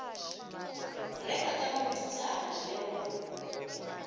reka ka mokitlana le go